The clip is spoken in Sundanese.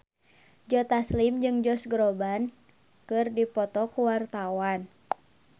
Joe Taslim jeung Josh Groban keur dipoto ku wartawan